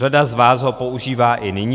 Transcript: Řada z vás ho používá i nyní.